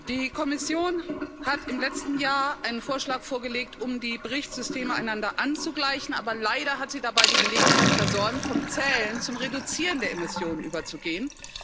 Die Kommission hat im letzten Jahr einen Vorschlag vorgelegt, um die Berichtssysteme einander anzugleichen, aber leider hat sie dabei die Gelegenheit versäumt, vom Zählen zum Reduzieren der Emissionen überzugehen.